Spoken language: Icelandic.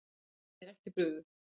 Henni er ekki brugðið.